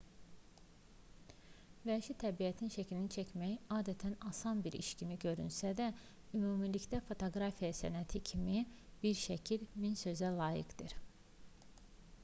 vəhşi təbiətin şəklini çəkmək adətən asan bir iş kimi görünsə də ümumilikdə fotoqrafiya sənəti kimi bir şəkil min sözə layiqdir